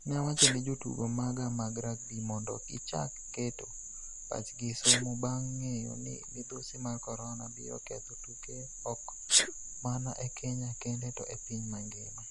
Ne awacho ne jotugo maga mag rugby mondo gichak keto pachgi e somo bang' ng'eyo ni midhusi mar corona biro ketho tuke ok mana e Kenya kende to e piny mangima.